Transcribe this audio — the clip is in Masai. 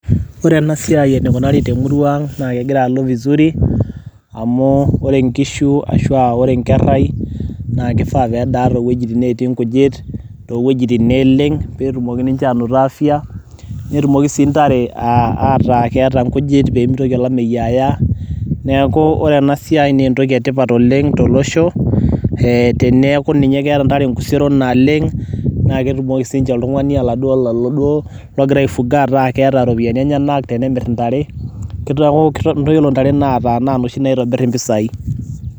ore enasiai enikunari temurua ang naa kegira alo vizuri amu ore inkishu ashua wore nkerrai naa kifaa pedaa towuejitin natii nkujit towuejitin neleng petumoki ninche anoto afya netumoki sii ntare ataa keeta inkujit pemitoki olameyu aya neeku ore enasiai naa entoki etipat oleng tolosho teneku ninye keeta ntare nkuseron naleng naa ketumoki sinye oltung'ani oladuo logira aifuga ataa keeta iropiyiani enyenak tenemirr intare kitoku yiolo ntare naata naa noshi naitobirr impisai.